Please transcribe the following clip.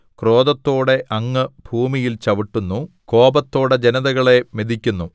ക്രോധത്തോടെ അങ്ങ് ഭൂമിയിൽ ചവിട്ടുന്നു കോപത്തോടെ ജനതകളെ മെതിക്കുന്നു